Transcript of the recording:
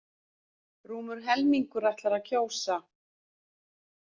Rúmur helmingur ætlar að kjósa